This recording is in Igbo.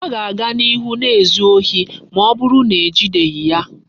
O ga-aga n'ihu na-ezu ohi ma oburu na ejideghi ya